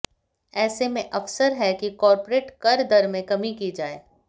ऐसे में अवसर है कि कॉर्पोरेट कर दर में कमी की जाए